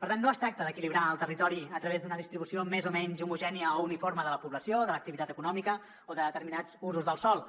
per tant no es tracta d’equilibrar el territori a través d’una distribució més o menys homogènia o uniforme de la població de l’activitat econòmica o de determinats usos del sòl